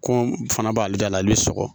Kɔn fana b'ale da la ale bɛ sɔgɔ